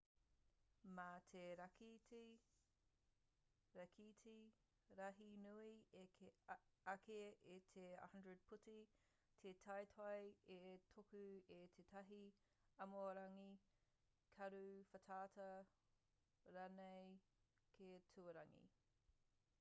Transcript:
mā te rākete rahi nui ake i te 100 putu te teitei e tuku i tētahi āmiorangi karu whātata ranei ki tuarangi